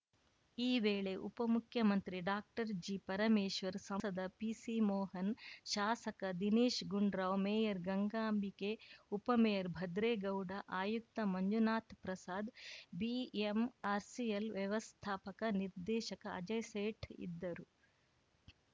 ಈ ವೇಳೆ ಉಪಮುಖ್ಯಮಂತ್ರಿ ಡಾಕ್ಟರ್ಜಿಪರಮೇಶ್ವರ್‌ ಸಂಸದ ಪಿಸಿ ಮೋಹನ್‌ ಶಾಸಕ ದಿನೇಶ್‌ ಗುಂಡೂರಾವ್‌ ಮೇಯರ್‌ ಗಂಗಾಂಬಿಕೆ ಉಪಮೇಯರ್‌ ಭದ್ರೇಗೌಡ ಆಯುಕ್ತ ಮಂಜುನಾಥ್‌ ಪ್ರಸಾದ್‌ ಬಿಎಂಆರ್‌ಸಿಎಲ್‌ ವ್ಯವಸ್ಥಾಪಕ ನಿರ್ದೇಶಕ ಅಜಯ್‌ ಸೇಠ್‌ ಇದ್ದರು